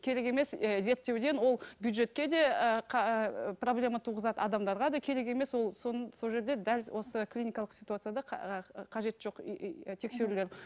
керек емес і зерттеуден ол бюджетке де проблема туғызады адамдарға да керек емес ол соны сол жерде дәл осы клиникалық ситуацияда қажет жоқ тексерулер